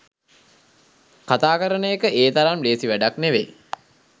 කතා කරන එක ඒ තරම් ලේසි වැඩක් නෙවෙයි